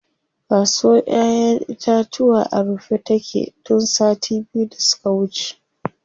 Kasuwr ƴaƴen itatuwa a rufe take tun sati biyu da suka wuce.